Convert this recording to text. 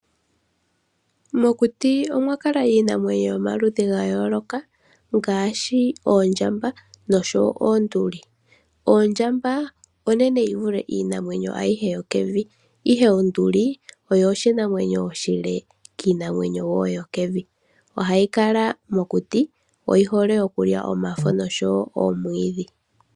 Mokuti omwakala iinamwenyo yomaludhi ga yooloka ngaashi oondjamba noshowo oonduli. Ondjamba onene yivule iinamwenyo ayihe yokevi, ihe onduli oyo oshinamwenyo oshile kiinamwenyo yokevi .Ohayi kala mokuti. Oyihole okulya omafo noshowo oomwiidhi.